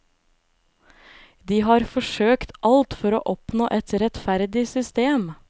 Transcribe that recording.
De har forsøkt alt for å oppnå et rettferdig system.